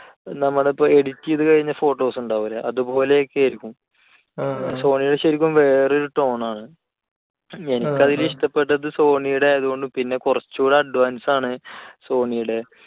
നമ്മൾ ഇപ്പോൾ edit ചെയ്തുകഴിഞ്ഞ photos ഉണ്ടാവില്ലേ? അതുപോലെയൊക്കെ ആയിരിക്കും. sony യുടെ ശരിക്കും വേറൊരു tone ആണ്. എനിക്ക് ഇഷ്ടപ്പെട്ടത് sony യുടെ ആണ്. പിന്നെ കുറച്ചു കൂടെ advanced ആണ് sony യുടെ